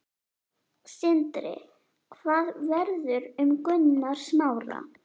Sindri: Hvað verður um Gunnar Smára?